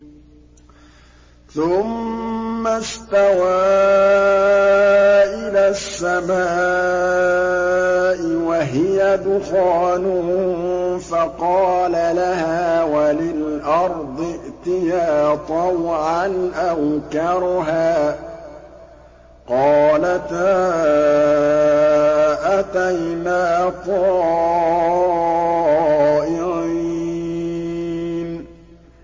ثُمَّ اسْتَوَىٰ إِلَى السَّمَاءِ وَهِيَ دُخَانٌ فَقَالَ لَهَا وَلِلْأَرْضِ ائْتِيَا طَوْعًا أَوْ كَرْهًا قَالَتَا أَتَيْنَا طَائِعِينَ